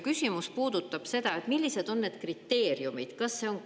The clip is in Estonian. Küsimus puudutab seda, millised on need kriteeriumid.